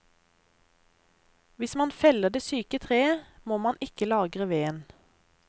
Hvis man feller det syke treet, må man ikke lagre veden.